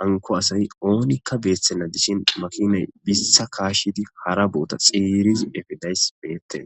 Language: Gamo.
hanko asayi oonikka beeththenna dishin makinay biistha kaashidi hara boota xeerizi efidays beette